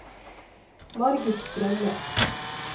Margit Strømme